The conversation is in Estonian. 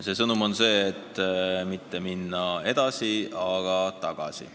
See sõnum on see, et läheme mitte edasi, vaid tagasi.